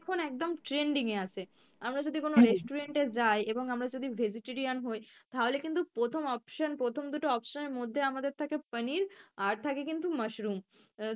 এখন একদম trending এ আছে, আমরা যদি কোনো restaurant এ যাই এবং আমরা যদি vegetarian হই তাহলে কিন্তু প্রথম option প্রথম দুটো option এর মধ্যে আমাদের থাকে paneer আর থাকে কিন্তু mushroom আহ